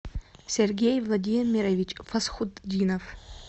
сергей владимирович фасхутдинов